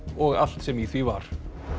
og allt sem í því var